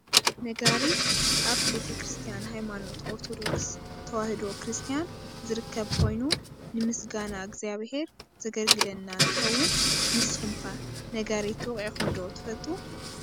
ነጋሪት ኣብ ቤተ-ክርስትያን ሃይማኖት ኦርቶዶክስ ተዋህዶ ክርስትያን ዝርከብ ኮይኑ ንምስጋና እግዝኣብሄር ዘገልግለና እንትከውን ንስኩም ከ ነጋሪት ወቂዕኩም ዶ ትፈልጡ ?